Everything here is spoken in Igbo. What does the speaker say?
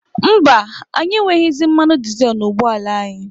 Mba, anyị enweghịzị mmanụ dịzel n'ụgbọ ala anyị.